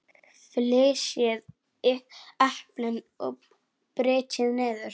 Flysjið eplin og brytjið niður.